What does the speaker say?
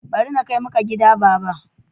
Bari na kai maka gida baba.